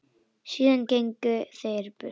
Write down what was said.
Síðan gengu þeir burt.